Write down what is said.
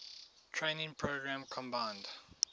training program combined